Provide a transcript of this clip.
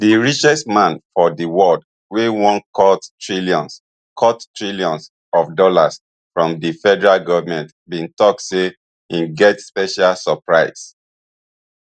di richest man for di world wey wan cut trillions cut trillions of dollars from the federal government bin tok say im get special surprise